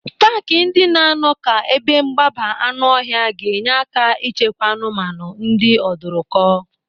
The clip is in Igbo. Paaki ndị na-anọ ka ebe mgbaba anụ ọhịa ga-enye aka ịchekwa anụmanụ ndị ọdụrụkọ.